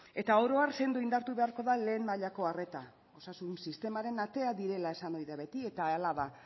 eta oro har sendo indartu beharko da lehen mailako arreta osasun sistemaren atea direla esan ohi da beti eta hala da